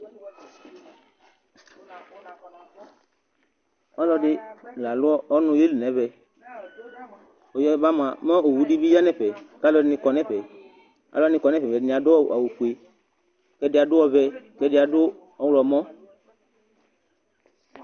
Ɔlɔdi la lũ ɔnu yeli n'ɛvɛ, ɔyaba mua mɛ owu di bi yaeli n'ɛfɛ, k'aluɛdini kɔ n'ɛfɛ, aluwani kɔ n'ɛfɛ mua ɛdini adu awù fue, k'ɛdi adu ɔvɛ, k'ɛdi adu ɔwlɔmɔ